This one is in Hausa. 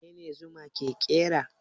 Menene Zuma ke kera?